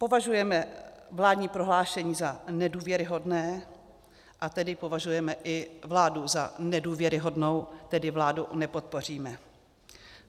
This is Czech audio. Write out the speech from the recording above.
Považujeme vládní prohlášení za nedůvěryhodné, a tedy považujeme i vládu za nedůvěryhodnou, tedy vládu nepodpoříme.